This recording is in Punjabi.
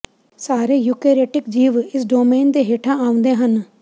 ਸਾਰੇ ਯੂਕੇਰੇਟਿਕ ਜੀਵ ਇਸ ਡੋਮੇਨ ਦੇ ਹੇਠਾਂ ਆਉਂਦੇ ਹਨ